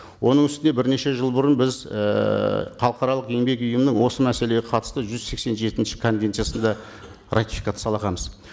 оның үстіне бірнеше жыл бұрын біз ііі халықаралық еңбек ұйымының осы мәселеге қатысты жүз сексен жетінші конвенциясын да ратификациялағанбыз